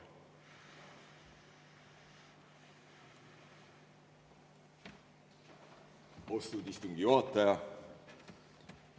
Austatud istungi juhataja!